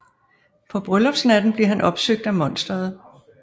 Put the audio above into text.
På bryllupsnatten bliver han opsøgt af monsteret